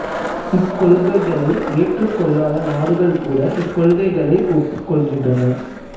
இக்கொள்கைகளை ஏற்றுக் கொள்ளாத நாடுகள் கூட இக்கொள்கைகளை ஒப்புக் கொள்கின்றன